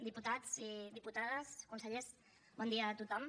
diputats i diputades consellers bon dia a tothom